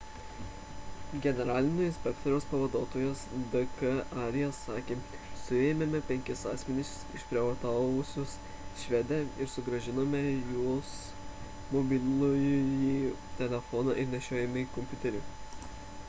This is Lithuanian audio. generalinio inspektoriaus pavaduotojas d k arya sakė suėmėme penkis asmenis išprievartavusius švedę ir sugrąžinome jos mobilųjį telefoną ir nešiojamąjį kompiuterį